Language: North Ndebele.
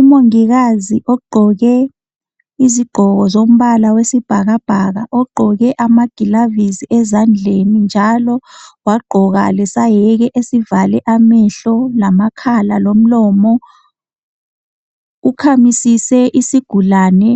Umongikazi ogqoke izigqoko zombala wesibhakabhaka ogqoke amagilavisi ezandleni njalo wagqoka lesayeke esivale amehlo lamakhala lomlomo. Ukhamisise isigulane